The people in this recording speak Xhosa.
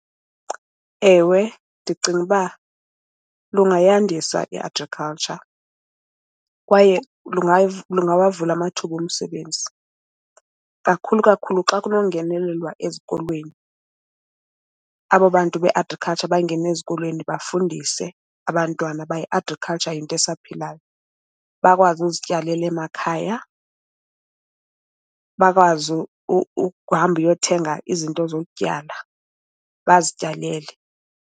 Ewe, ndicinga uba lungayandisa i-agriculture kwaye lungawavula amathuba omsebenzi kakhulu, kakhulu xa kunongenelelwa ezikolweni. Abo bantu be-agriculture bangene ezikolweni bafundise abantwana ba i-agriculture yinto esaphilayo. Bakwazi ukuzityalela emakhaya. Bakwazi ukuhamba uyothenga izinto zokutyala bazityalele.